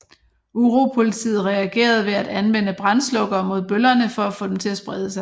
Uropolitiet reagerede ved at anvende brandslukkere mod bøllerne for at få dem til at sprede sig